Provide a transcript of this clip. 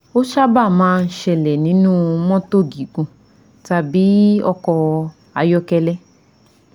Ó sábà máa ń ṣẹlẹ̀ nínú motto gigun tàbí ọkọ̀ ayọ́kẹ́lẹ́